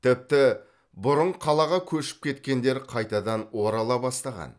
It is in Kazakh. тіпті бұрын қалаға көшіп кеткендер қайтадан орала бастаған